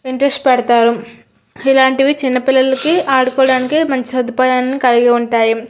Interest పెడతారు. ఇలాంటివి చిన్నపిల్లలు ఆడుకోవడానికి మంచి సదుపాయాన్ని కలిగి ఉంటాయి.